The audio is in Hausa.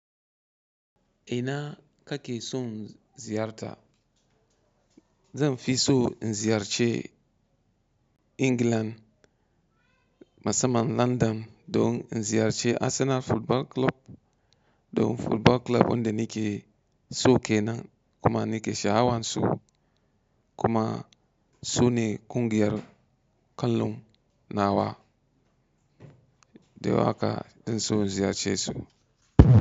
Ina kake son ziyarta? Zan fi so in ziyarci England, musamman London. Don in ziyarci Arsenal Football Club don football club ɗin da nike so kenan kuma nike shahawansu kuma sune ƙungiyar ƙwallon nawa da aka in so ziyarce su.